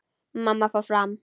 Mamma fór fram.